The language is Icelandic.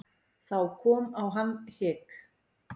Þá kom á hann hik.